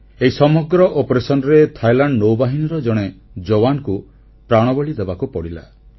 ଏହି ସମଗ୍ର ଅଭିଯାନରେ ଥାଇଲାଣ୍ଡ ନୌବାହିନୀର ଜଣେ ଯବାନକୁ ପ୍ରାଣବଳୀ ଦେବାକୁ ପଡ଼ିଲା